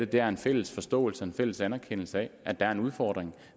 det er en fælles forståelse og en fælles anerkendelse af at der er en udfordring